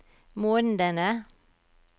månedene